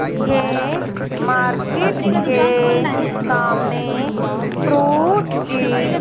ये मार्केट के सामने फ्रूट की--